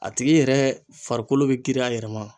A tigi yɛrɛ farikolo bɛ kiri a yɛrɛ ma